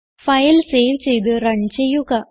file save ചെയ്ത് run ചെയ്യുക